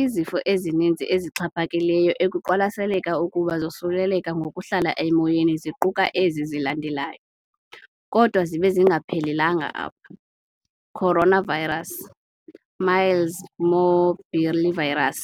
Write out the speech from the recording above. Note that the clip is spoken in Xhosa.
Izifo ezininzi ezixhaphakileyo ekuqwalaseleka ukuba zosuleleka ngokuhlala emoyeni ziquka ezi zilandelayo, kodwa zibe zingaphelelanga apha- coronavirus, measles morbillivirus,